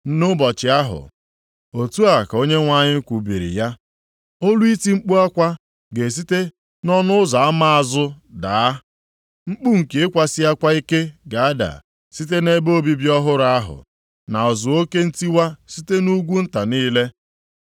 “Nʼụbọchị ahụ,” otu a ka Onyenwe anyị kwubiri ya, “olu iti mkpu akwa ga-esite nʼỌnụ Ụzọ Ama Azụ daa, mkpu nke ịkwasi akwa ike ga-ada site nʼebe obibi ọhụrụ ahụ, na ụzụ oke ntiwa site nʼugwu nta niile.